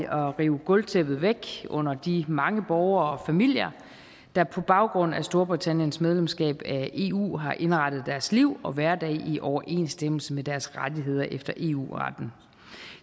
at rive gulvtæppet væk under de mange borgere og familier der på baggrund af storbritanniens medlemskab af eu har indrettet deres liv og hverdag i overensstemmelse med deres rettigheder efter eu retten